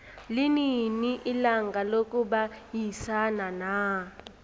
linini ilanga lokubayisana na